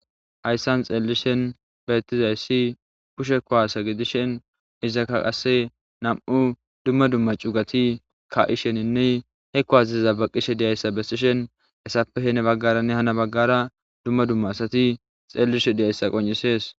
hayssan xeellishen beettizayssi pushe kowasa gidishen izaka qasse nam7u dumma dumma cugati ka7isheninne hekko azaiza baqishe diyayssa bessishen esappe hene baggaranne hana baggara dumma dumma asati xeellishe diyayssa qon7isees